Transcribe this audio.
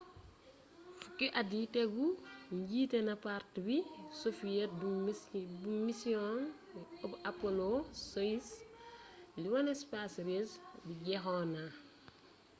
fuki at yi tegu jité na parti soviet bu missiong u apollo-soyuz li woné space race bii jexona